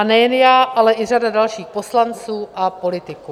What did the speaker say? A nejen já, ale i řada dalších poslanců a politiků.